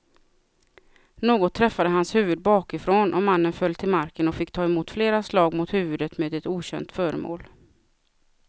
Något träffade hans huvud bakifrån och mannen föll till marken och fick ta emot flera slag mot huvudet med ett okänt föremål.